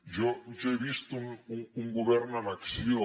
jo he vist un govern en acció